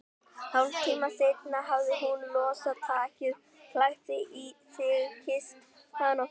Hálftíma seinna hafði hún losað takið, klætt sig, kysst hann og farið.